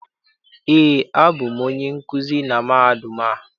Eé, abụ m onye nkuzi na mahadum a.